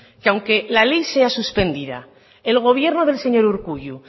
que aunque la ley sea suspendida el gobierno del señor urkullu